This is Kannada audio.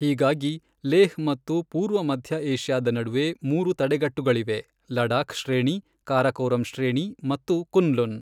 ಹೀಗಾಗಿ, ಲೇಹ್ ಮತ್ತು ಪೂರ್ವ ಮಧ್ಯ ಏಷ್ಯಾದ ನಡುವೆ, ಮೂರು ತಡೆಗಟ್ಟುಗಳಿವೆ ಲಡಾಖ್ ಶ್ರೇಣಿ, ಕಾರಾಕೋರಂ ಶ್ರೇಣಿ ಮತ್ತು ಕುನ್ಲುನ್.